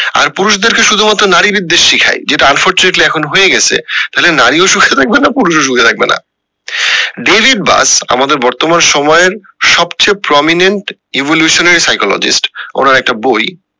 আর পুরুষদের কে শুধু মাত্র নারী বিদ্বেষ শিখাই যেটা unfortunately এখন হয়ে গেছে তাহলে নারী ও সুখে থাকবে না পুরুষ ও সুখে থাকবেনা ডেভিড বাস আমাদের বর্তমান সময়ের সবচেয়ে prominent evolution এর psychologist ওনার একটা বই